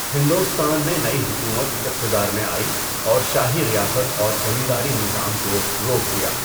ہندوستان میں نئی حکومت اقتدار میں آئی اور شاہی ریاست اور زمینداری نظام کو روک دیا۔